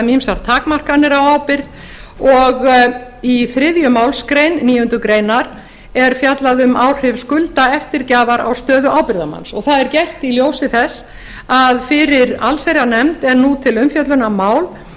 um ýmsar takmarkanir á ábyrgð og í þriðju málsgrein níundu grein er fjallað um áhrif skuldaeftirgjafar á stöðu ábyrgðarmanns og það er gert í ljósi þess að fyrir allsherjarnefnd er nú til umfjöllunar mál